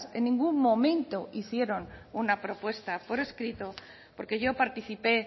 en ningún momento hicieron una propuesta por escrito porque yo participé